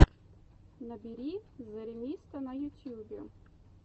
набери зэремисто на ютьюбе